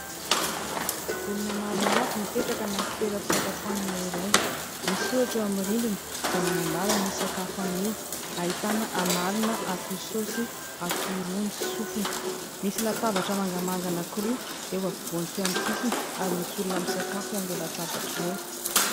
Olona maromaro mipetraka anaty toeram-pisakafoanana iray. Misy soratra eo amin'ny rindrina izay manambara ny sakafo anio, ahitana amalona, akoho saosy, akoho rony sy sofiny. Misy latabatra mangamanga anankiroa eo ampovoany sy eo amin'ny sisiny ary misy olona misakafo eo amin'ireo latabatra ireo.